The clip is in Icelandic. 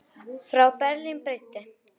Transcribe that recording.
Frá Berlín breiddi